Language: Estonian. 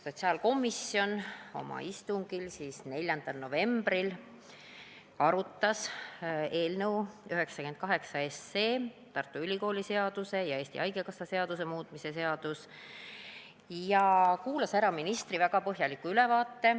Sotsiaalkomisjon oma istungil 4. novembril arutas eelnõu 98, Tartu Ülikooli seaduse ja Eesti Haigekassa seaduse muutmise seaduse eelnõu, ja kuulas ära ministri väga põhjaliku ülevaate.